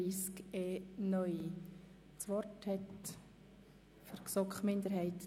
Kommissionssprecherin der GSoK-Minderheit